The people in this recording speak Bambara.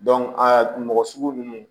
a mɔgɔ sugu ninnu